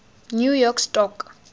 new york stock